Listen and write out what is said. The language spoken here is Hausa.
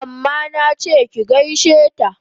Amma nache ki gaishe ta!